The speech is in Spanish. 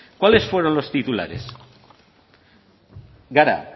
cuáles fueron los titulares gara